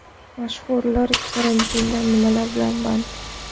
Mashhurlar karantinda nimalar bilan band?